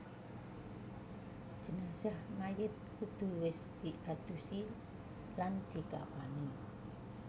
Jenazah Mayit kudu wis diadusi lan dikafani